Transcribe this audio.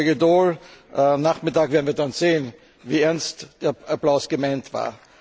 Kollege Daul, am Nachmittag werden wir dann sehen, wie ernst der Applaus gemeint war.